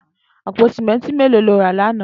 Àpó sìmẹntí méló ló rà làná?